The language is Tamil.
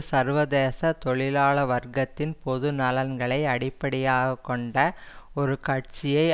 சர்வதேச தொழிலாள வர்க்கத்தின் பொது நலன்களை அடிப்படையாக கொண்ட ஒரு கட்சியை